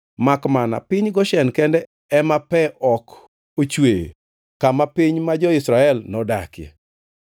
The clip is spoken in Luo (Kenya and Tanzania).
Makmana piny Goshen kende ema pe ok ochwee, kama piny ma jo-Israel nodakie.